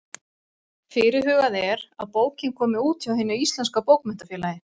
Fyrirhugað er að bókin komi út hjá Hinu íslenska bókmenntafélagi.